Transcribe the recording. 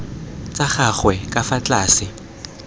tsa gagwe ka fa tlase